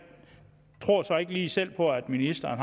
tror så ikke lige selv på at ministeren